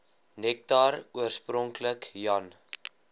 nektar oorspronklik jan